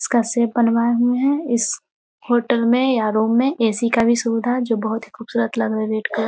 इसका शेप बनवाए हुए है इस होटल में या रूम में ए.सी. का भी सुविधा है जो कि बहुत ही खूबसूरत लग रहा हैं रेड कलर --